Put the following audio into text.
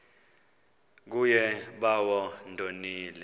kuye bawo ndonile